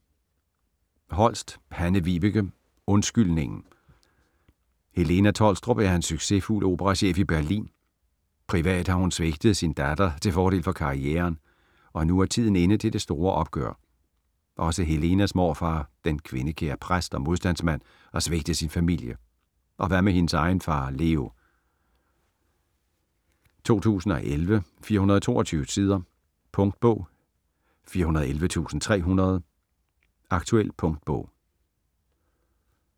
Holst, Hanne-Vibeke: Undskyldningen Helena Tholstrup er en succesfuld operachef i Berlin. Privat har hun svigtet sin datter til fordel for karrieren, og nu er tiden inde til det store opgør. Også Helenas morfar, den kvindekære præst og modstandsmand, har svigtet sin familie, og hvad med hendes egen far Leo? 2011, 422 sider. Punktbog 411300 Aktuel punktbog